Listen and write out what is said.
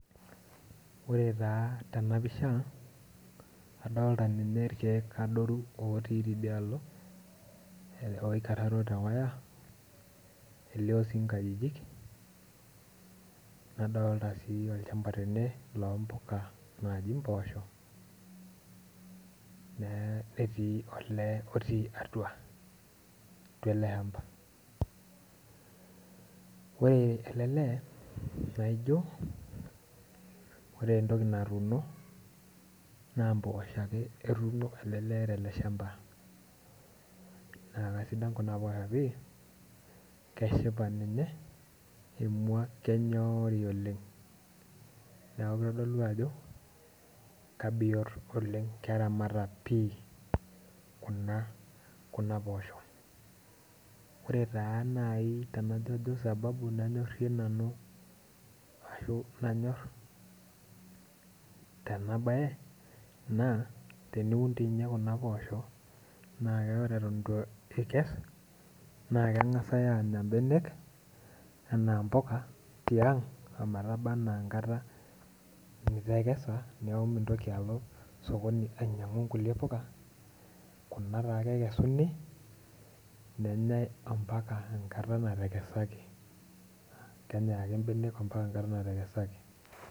Ore taa tenapisha, adolita ninye irkeek adoru otii tidialo aikararo tewaya ,nelio sii nkajijik nadolita olchamba tene loompuka netii mpoosho netii olee otii atua .ore ele lee naijo ore entoki natuuno naa mpoosho ake etuuno ele lee tele shamba naa kaisidan Kuna oposho pi ,keshipa ninye emwa kenyori oleng' ,neeku kitodolu ajo kebiot keramata pi Kuna poosho. ore taa naaji sababu nanyorie nanu najo kanyor tenabae naa ore teniun Kuna oposho naa ore eton eitu ikes, naa keng'asi aanya mbenek anaa mpuka tiang' ometaba enaa enkata nitekesa neeku mitoki alo sokoni ainyang'u nkulie puka ,Kuna ta ake ekesuni nenyae mpaka enkata natekesaki .